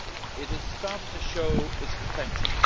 It has started to show its potential.